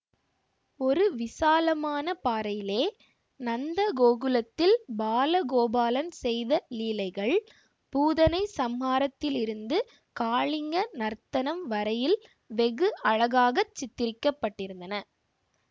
ஒரு விசாலமான பாறையிலே நந்த கோகுலத்தில் பாலகோபாலன் செய்த லீலைகள் பூதனை சம்ஹாரத்திலிருந்து காளிங்க நர்த்தனம் வரையில் வெகு அழகாக சித்திரிக்க பட்டிருந்தன